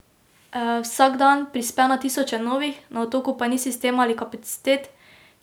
Mislim, da je malo pripomogel k temu, da je srce začelo delovati.